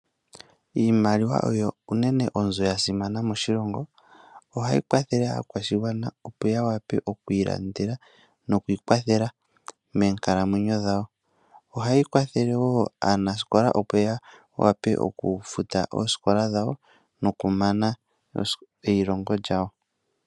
Iimaliwa oyo unene onzo ya simana moshilongo. Ohayi kwathele aakwashigwana opo ya wape oku ilandela noku ikwathela moonkalamwenyo dhawo. Ohayi kwathele aanasikola opo ya wape okufuta oosikola dhawo nokumana eyilongo lyawo.